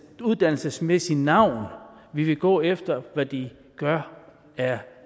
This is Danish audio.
uddannelsesmæssigt navn vi vil gå efter hvad de gør af